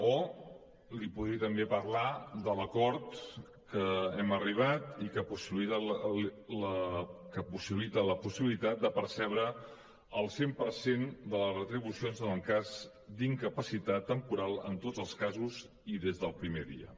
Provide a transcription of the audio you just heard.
o li podria també parlar de l’acord a què hem arribat i que possibilita la possibilitat de percebre el cent per cent de les retribucions en el cas d’incapacitat temporal en tots els casos i des del primer dia